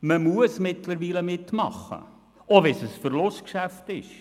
Man muss mittlerweile mitmachen, auch wenn es für uns ein Verlustgeschäft ist.